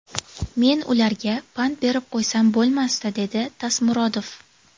Men ularga pand berib qo‘ysam bo‘lmasdi”, – dedi Tasmurodov.